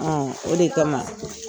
o de kama